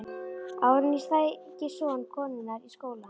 Áður en ég sæki son konunnar í skólann.